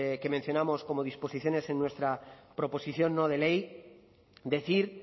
que mencionamos como disposiciones en nuestra proposición no de ley decir